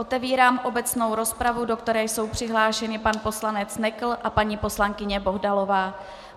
Otevírám obecnou rozpravu, do které jsou přihlášeni pan poslanec Nekl a paní poslankyně Bohdalová.